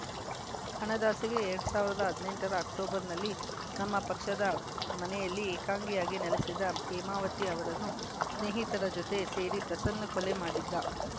ಹಣದಾಸೆಗೆ ಎರಡ್ ಸಾವಿರದ ಹದಿನೆಂಟರ ಅಕ್ಟೋಬರ್‌ನಲ್ಲಿ ನಮ್ಮ ಪಕ್ಷದ ಮನೆಯಲ್ಲಿ ಏಕಾಂಗಿಯಾಗಿ ನೆಲೆಸಿದ್ದ ಹೇಮಾವತಿ ಅವರನ್ನು ಸ್ನೇಹಿತರ ಜತೆ ಸೇರಿ ಪ್ರಸನ್ನ ಕೊಲೆ ಮಾಡಿದ್ದ